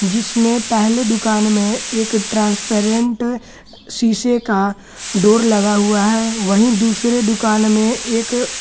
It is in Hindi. जिसमें पहले दुकान में एक ट्रांसपेरेंट शीशे का डोर लगा हुआ है वहीं दूसरे दुकान में एक।